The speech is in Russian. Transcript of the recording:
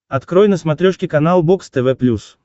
открой на смотрешке канал бокс тв плюс